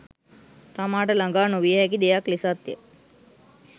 තමා ට ළඟා නොවිය හැකි දෙයක් ලෙසත්ය